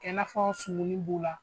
Kɛ i na fɔ sumuni b'u la.